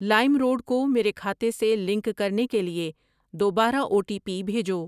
لائم road کو میرے کھاتے سے لنک کرنے کے لیے دوبارہ او ٹی پی بھیجو۔